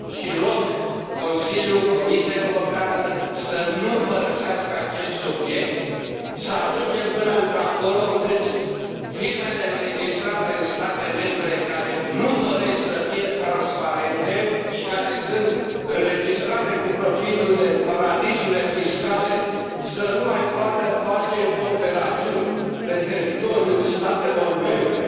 Rog Consiliul și Comisia Europeană să nu părăsească acest subiect să ajungem până într acolo încât firmele înregistrate în state membre care nu doresc să fie transparente și care sunt înregistrate cu profiturile în paradisurile fiscale să nu mai poată face operațiuni pe teritoriul statelor membre.